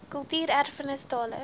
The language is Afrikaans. kultuur erfenis tale